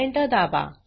Enter दाबा